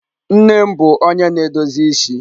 nne m bu onye na-edozi isi.